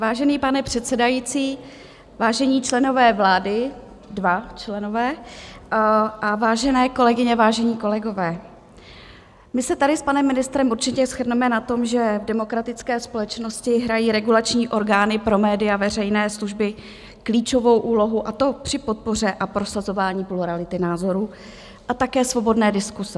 Vážený pane předsedající, vážení členové vlády - dva členové - a vážené kolegyně, vážení kolegové, my se tady s panem ministrem určitě shodneme na tom, že v demokratické společnosti hrají regulační orgány pro média veřejné služby klíčovou úlohu, a to při podpoře a prosazování plurality názorů a také svobodné diskuse.